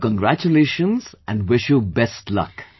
so congratulations and wish you best luck